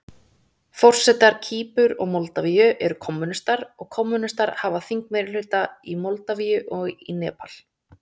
Forsetar Kýpur og Moldavíu eru kommúnistar, og kommúnistar hafa þingmeirihluta í Moldavíu og í Nepal.